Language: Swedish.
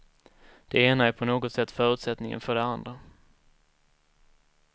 Det ena är på något sätt förutsättningen för det andra.